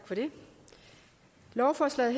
lovforslaget